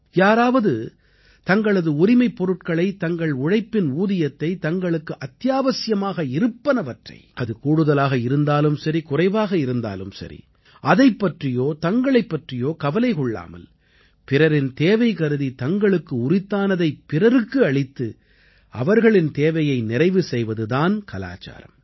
யாராவது தங்களது உரிமைப் பொருட்களை தங்கள் உழைப்பின் ஊதியத்தை தங்களுக்கு அத்தியாவசியமாக இருப்பவனவற்றை அது கூடுதலாக இருந்தாலும் சரி குறைவாக இருந்தாலும் சரி அதைப் பற்றியோ தங்களைப் பற்றியோ கவலை கொள்ளாமல் பிறரின் தேவைகருதி தங்களுக்கு உரித்தானதைப் பிறருக்கு அளித்து அவர்களின் தேவையை நிறைவு செய்வது தான் கலாச்சாரம்